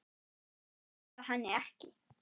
Þau hlýða henni ekki.